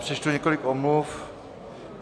Přečtu několik omluv.